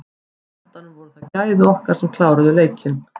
Á endanum voru það gæði okkar sem kláruðu leikinn.